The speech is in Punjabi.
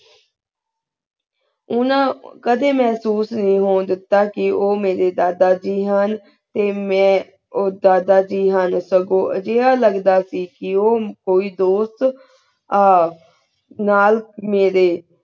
ਓਨਾ ਕਦੇ ਮੇਹ੍ਸੂਸ ਨਾਈ ਹੋਣ ਦਿੱਤਾ ਕੇ ਊ ਮਾਰੀ ਦਾਦਾ ਜੀ ਹੁਣ ਤੇ ਮੈਂ ਊ ਦਾਦਾ ਜੀ ਹੁਣ ਖਰਗੋ ਅਜੀਹਾ ਲਗਦਾ ਸੇ ਕੀ ਊ ਕੋਈ ਦੋਸਤ ਆ ਨਾਲ ਮਾਰੀ